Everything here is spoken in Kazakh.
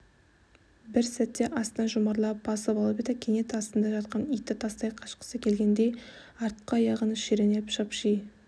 бір сәтте астына жұмарлап басып алып еді кенет астында жатқан итті тастай қашқысы келгендей артқы аяғын шіреніп шапши